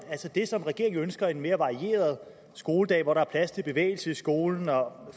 det som regeringen ønsker nemlig en mere varieret skoledag hvor der er plads til bevægelse i skolen